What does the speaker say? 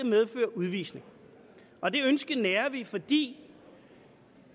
medføre udvisning og det ønske nærer vi fordi